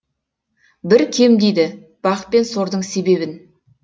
бір кем дейді бақ пен сордың себебін